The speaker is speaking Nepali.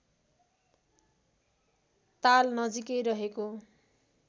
ताल नजिकै रहेको